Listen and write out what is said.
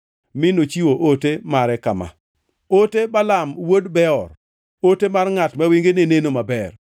mi nochiwo ote mare kama: “Ote Balaam wuod Beor, ote mar ngʼat ma wengene neno maber,